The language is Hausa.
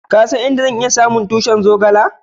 Ka san duk inda zan iya samu tushin zogale?